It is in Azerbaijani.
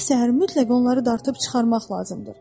Hər səhər mütləq onları dartıb çıxarmaq lazımdır.